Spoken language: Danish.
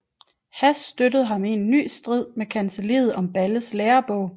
Hass støttede ham i en ny strid med kancelliet om Balles lærebog